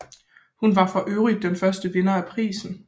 Hun var forøvrigt den første vinder af prisen